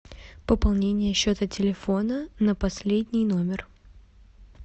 пополнение счета телефона на последний номер